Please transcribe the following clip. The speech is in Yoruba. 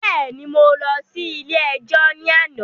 Bẹ́ẹ̀ni, mo lọ ilé ẹjọ́ ní àná